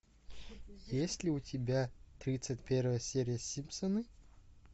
есть ли у тебя тридцать первая серия симпсоны